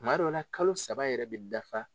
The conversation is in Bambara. Kuma dɔ la kalo saba yɛrɛ bɛ dafa.